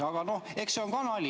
Aga no eks see on ka nali.